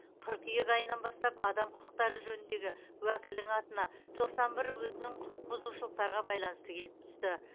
қыркүйек айынан бастап адам құқықтары жөніндегі уәкілдің атына тоқсан бір өтінім құқықбұзушылықтарға байланысты келіп түсті